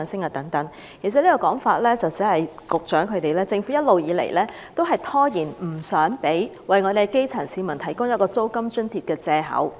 其實此說法只是政府一直以來用以拖延為基層市民提供租金津貼的藉口。